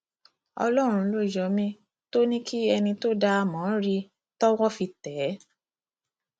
ọlọrun ló yọ mí tó ní kí ẹni tó dá a mọ rí i tọwọ fi tẹ ẹ